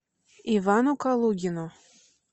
ивану калугину